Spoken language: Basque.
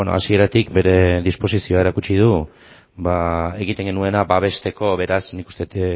hasieratik bere disposizioa erakutsi du egiten genuena babesteko beraz nik uste dut